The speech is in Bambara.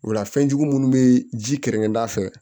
O la fɛnjugu munnu be ji kɛrɛnkɛrɛn